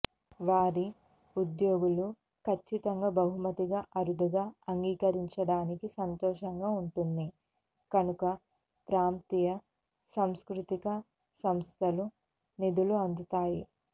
వారి ఉద్యోగులు ఖచ్చితంగా బహుమతిగా అరుదుగా అంగీకరించడానికి సంతోషంగా ఉంటుంది కనుక ప్రాంతీయ సాంస్కృతిక సంస్థలు నిధులు అందుతాయి